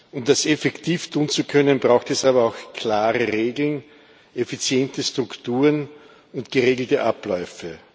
Um das effektiv tun zu können, braucht es aber auch klare Regeln, effiziente Strukturen und geregelte Abläufe.